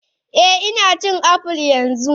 Eh Ina cin apples yanzu